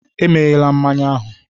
E meghela mmanya ahụ!